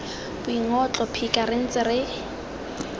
boingotlo phika re ntse re